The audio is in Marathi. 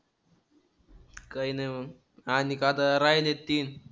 काही नाही मग. आणिक आता राहिलेत तीन.